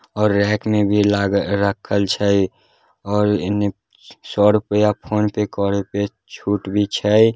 और रेक में भी लाग राखल छै और एने सौ रुपया फोनपे करे के छूट भी छै।